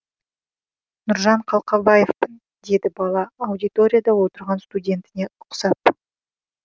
нұржан қалқабаевпын деді бала аудиторияда отырған студентіне ұқсап